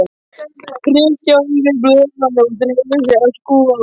Kristjaníu í blöðunum og drifið sig að skoða.